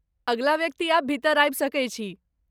अगिला व्यक्ति आब भीतर आबि सकैत छी!